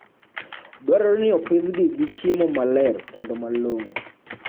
Dwarore ni opidhgi gi chiemo maler kendo malong'o.